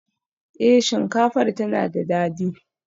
Eh, shinkafar tana da dadi